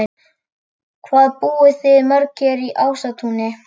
Hvað búið þið mörg hér í Ásatúni?